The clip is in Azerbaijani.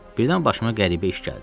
Birdən başıma qəribə iş gəldi.